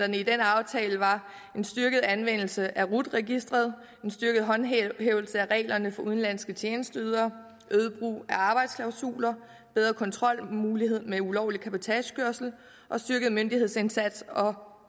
den aftale var en styrket anvendelse af rut registeret en styrket håndhævelse af reglerne for udenlandske tjenesteydere øget brug af arbejdsklausuler bedre kontrolmulighed med ulovlig cabotagekørsel styrket myndighedsindsats og